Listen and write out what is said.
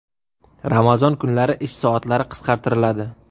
Ramazon kunlari ish soatlari qisqartiriladi.